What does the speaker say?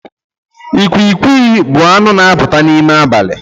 Ịkwịkwị bụ anụ n' apụta n'ime abalị